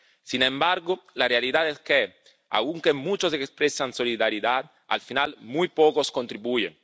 Sin embargo, la realidad es que, aunque muchos expresan solidaridad, al final muy pocos contribuyen.